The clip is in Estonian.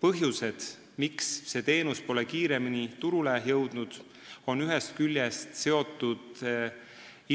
Põhjused, miks see teenus pole kiiremini turule jõudnud, on ühest küljest seotud